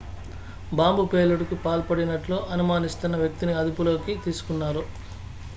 bomb పేలుడుకు పాల్పడినట్లు అనుమానిస్తున్న వ్యక్తిని అదుపులోకి తీసుకున్నారు